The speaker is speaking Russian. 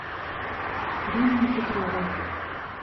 римме петровой